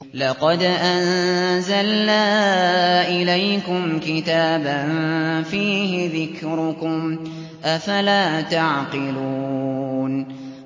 لَقَدْ أَنزَلْنَا إِلَيْكُمْ كِتَابًا فِيهِ ذِكْرُكُمْ ۖ أَفَلَا تَعْقِلُونَ